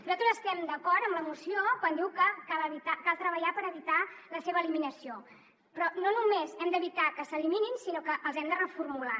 nosaltres estem d’acord amb la moció quan diu que cal treballar per evitar la seva eliminació però no només hem d’evitar que s’eliminin sinó que els hem de reformular